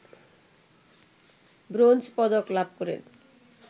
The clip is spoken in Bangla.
ব্রোঞ্জ পদক লাভ করেন